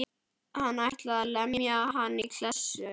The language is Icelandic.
Hann ætlaði að lemja hann í klessu.